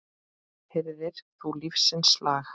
Heyrðir þú lífsins lag?